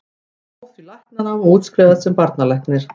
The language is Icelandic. Hann hóf því læknanám og útskrifaðist sem barnalæknir.